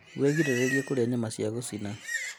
Wĩgirĩrĩrie kũrĩa nyama ya gũcina